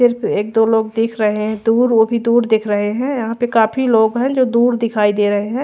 सिर्फ एक दो लोग दिख रहे है दूर वो भी दूर दिख रहे है यहाँ पे काफी लोग है जो दूर दिखाई दे रहे है।